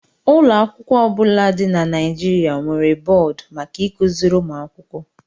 Ụlọ akwụkwọ ọ bụla dị na Nigeria nwere bọọdụ maka ịkụziri ụmụ akwụkwọ